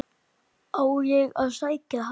Á ég að sækja hann?